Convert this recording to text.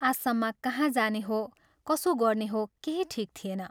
आसाममा कहाँ जाने हो, कसो गर्ने हो केही ठीक थिएन।